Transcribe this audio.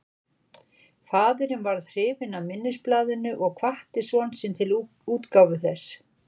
Faðirinn varð hrifinn af minnisblaðinu og hvatti son sinn til útgáfu þess.